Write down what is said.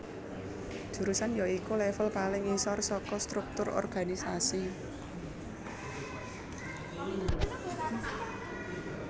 Jurusan ya iku level paling ngisor saka struktur organisasi